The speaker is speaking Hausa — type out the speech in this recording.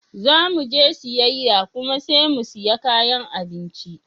Zamuje siyayya kuma sai mu siya kayan abinci.